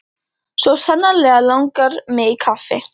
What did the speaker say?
Svo sannarlega langar mig í kaffi.